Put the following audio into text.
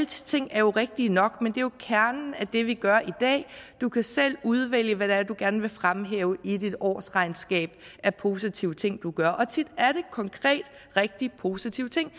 ting er jo rigtige nok men det er jo kernen af det vi gør i dag du kan selv udvælge hvad det er du gerne vil fremhæve i dit årsregnskab af positive ting du gør og tit er det konkret rigtig positive ting